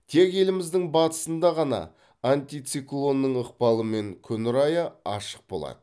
тек еліміздің батысында ғана антициклонның ықпалымен күн райы ашық болады